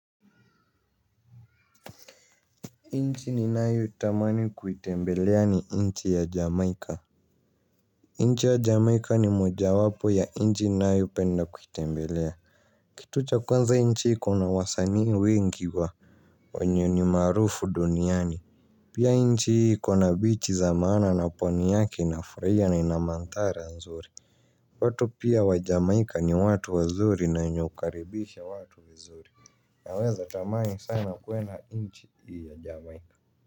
Nchi ninayo itamani kuitembelea ni nchi ya jamaika, nchi ya jamaika ni moja wapo ya nchi ninayoipenda kuitembelea. Kitu cha kwanza hii nchi iko na wasanii wengi wa wenye ni maarufu duniani. Pia nchi hii iko na beach za maana na pwani yake nafurahia na ina madhara nzuri. Watu pia wa jamaika ni watu wazuri na wenye kukaribisha watu vizuri, naweza tamani sana kwenda nchi hii ya jamaika.